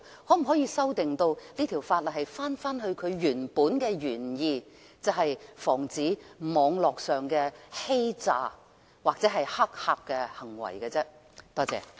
那可否把修訂這項條例以致回復其原意，即防止網絡上的詐欺和黑客行為呢？